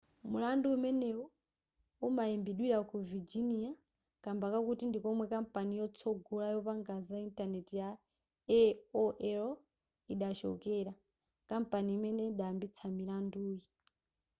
mulandu umeneyu umayimbidwira ku virginia kamba kakuti ndikomwe kampani yotsogola yopanga za intaneti ya aol idachokera kampani imene idayambitsa milanduyi